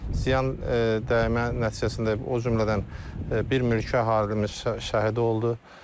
Ziyan dəymə nəticəsində, o cümlədən bir mülki əhalimiz şəhid oldu.